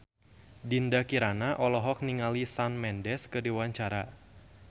Dinda Kirana olohok ningali Shawn Mendes keur diwawancara